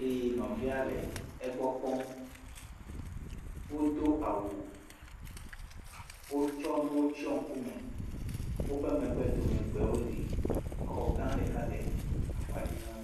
eye nɔvia le egbɔ kpɔm. Wodo awu, wotsɔ nuwo tsɔ ŋkume, woƒe megbe dome, gbewo li, xɔ gã ɖeka le akpa dzi na wo.